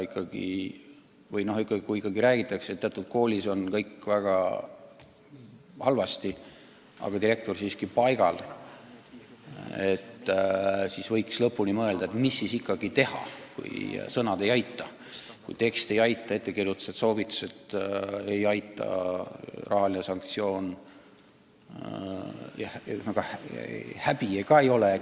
Kui ikkagi räägitakse, et teatud koolis on kõik väga halvasti, aga direktor on siiski paigal, siis võiks mõelda, mis siis ikkagi teha, kui sõnad ei aita, kui ettekirjutused ei aita, soovitused ei aita – ühesõnaga, häbi ka ei ole.